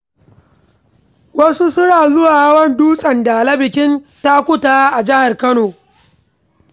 Wasu suna zuwa hawan dutsen Dala a bikin takutaha a jihar Kano.